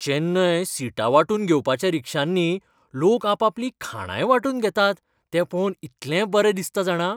चेन्नय सिटां वांटून घेवपाच्या रिक्षांनी लोक आपापलीं खाणांय वांटून घेतात तें पळोवन इतलें बरें दिसता जाणा!